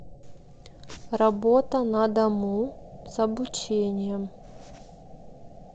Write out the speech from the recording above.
работа на дому с обучением